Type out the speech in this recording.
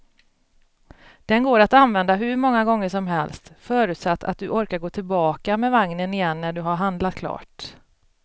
Den går att använda hur många gånger som helst, förutsatt att du orkar gå tillbaka med vagnen igen när du har handlat klart.